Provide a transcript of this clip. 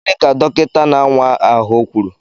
Gịnị ka dọkịta na-awa ahụ kwuru?